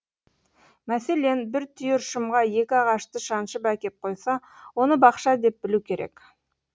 мәселен бір түйір шымға екі ағашты шаншып әкеп қойса оны бақша деп білу керек